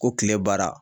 Ko kile baara